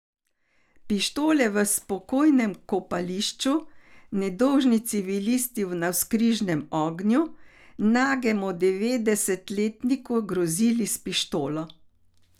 Pištole v spokojnem kopališču, nedolžni civilisti v navzkrižnem ognju, nagemu devetdesetletniku grozili s pištolo.